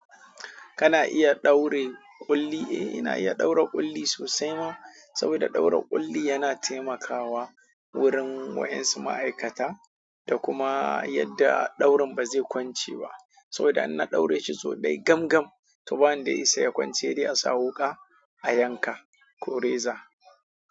Kana iya daure ƙulli. Eh ina iya daure ƙulli sosai ma, saboda daure ƙulli yana taimakawa wurin waen su ma'aikata, da kuma yadda daurin ba zai kwance ba. Saboda in na ɗaure shi sau dai gam gam, to ba wanda ya isa ya kwance sai dai a sa wuƙa a yanka ko reza.